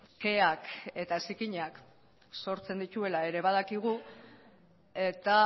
keak eta zikinak sortzen dituela ere badakigu eta